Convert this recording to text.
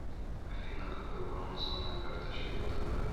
афина какой баланс на моей карточке втб